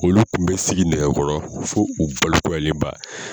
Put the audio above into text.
Olu tun bɛ sigi nɛgɛkɔrɔ fo u balekuyalenba!